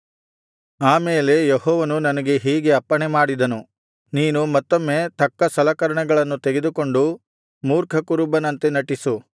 ಆ ಮೇಲೆ ಯೆಹೋವನು ನನಗೆ ಹೀಗೆ ಅಪ್ಪಣೆ ಮಾಡಿದನು ನೀನು ಮತ್ತೊಮ್ಮೆ ತಕ್ಕ ಸಲಕರಣೆಗಳನ್ನು ತೆಗೆದುಕೊಂಡು ಮೂರ್ಖ ಕುರುಬನಂತೆ ನಟಿಸು